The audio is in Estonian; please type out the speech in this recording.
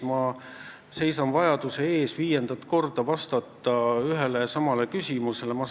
Ma seisan vajaduse ees viiendat korda ühele ja samale küsimusele vastata.